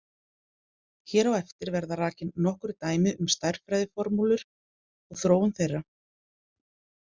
Hér á eftir verða rakin nokkur dæmi um stærðfræðiformúlur og þróun þeirra.